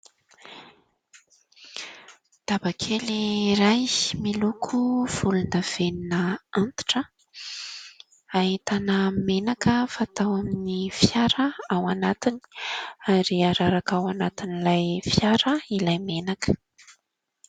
Daba kely iray miloko volon-davenona antitra ahitana menaka fatao amin'ny fiara ao anatiny ary araraka ao anatin'ilay fiara ilay menaka.